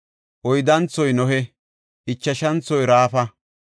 oyddanthoy Nohe; ichashanthoy Raafa.